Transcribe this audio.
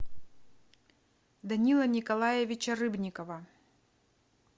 данила николаевича рыбникова